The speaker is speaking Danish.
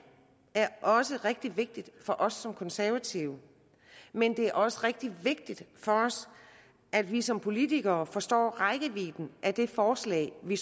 også er rigtig vigtigt for os som konservative men det er også rigtig vigtigt for os at vi som politikere forstår rækkevidden af det forslag vi